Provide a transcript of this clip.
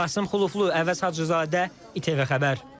Qasım Xuloflu, Əvəz Hacızadə, ATV Xəbər.